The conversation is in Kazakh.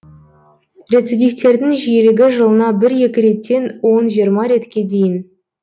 рецидивтердің жиілігі жылына бір екі реттен он жиырма ретке дейін